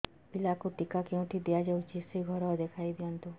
ପିଲାକୁ ଟିକା କେଉଁଠି ଦିଆଯାଉଛି ସେ ଘର ଦେଖାଇ ଦିଅନ୍ତୁ